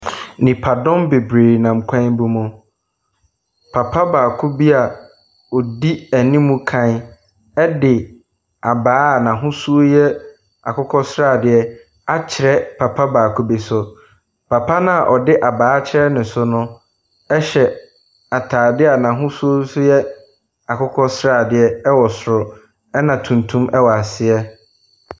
Nnipadɔm bebree nam kwan bi mu. Papa baako bi a ɔdi anim kan de abaa a n'ahosuo yɛ akokɔ sradeɛ akyerɛ papa baako bi so. Papa no a ɔde abaa akyerɛ ne so so hyɛ atadeɛ a n'ahosuo nso yɛ akokɔ sradeɛ wɔ soro, ɛna tuntum wɔ ase.